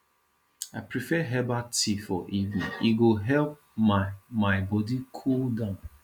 i prefer herbal tea for evening e go help my my body cool down